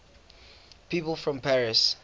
people from paris